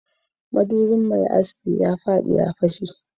madubin mai aski ya fadi ya fashe